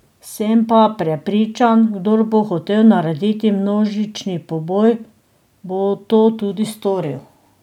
Sem pa prepričan, kdor bo hotel narediti množični poboj, bo to tudi storil.